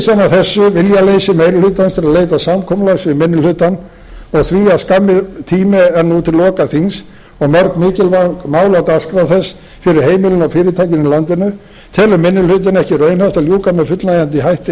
þessu viljaleysi meiri hlutans til að leita samkomulags við minni hlutann og því að skammur tími er nú til loka þings og mörg mikilvæg mál á dagskrá þess fyrir heimilin og fyrirtækin í landinu telur minni hlutinn ekki raunhæft að ljúka með fullnægjandi hætti